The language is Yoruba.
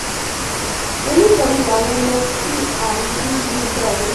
ẹ wò ó oníṣọnu làwọn ọmọ tí à ń bí yìí jàre